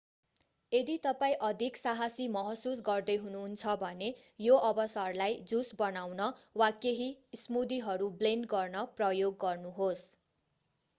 यदि तपाईं अधिक साहसी महसुस गर्दै हुनुहुन्छ भने यो अवसरलाई जुस बनाउन वा केही स्मूदीहरू ब्लेन्ड गर्न प्रयोग गर्नुहोस्